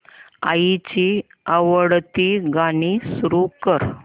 आईची आवडती गाणी सुरू कर